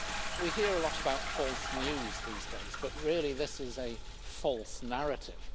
We hear a lot about false news these days, but really, this is a false narrative.